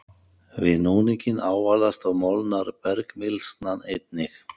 Við núninginn ávalast og molnar bergmylsnan einnig.